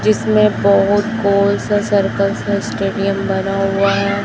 जिसमें बहोत गोल सा सर्कल सा स्टेडियम बना हुआ है।